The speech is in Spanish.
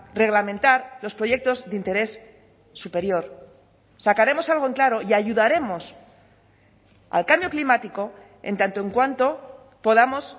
reglamentar los proyectos de interés superior sacaremos algo en claro y ayudaremos al cambio climático en tanto en cuanto podamos